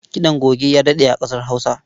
Kiɗan goge ya daɗe a ƙasar Hausa.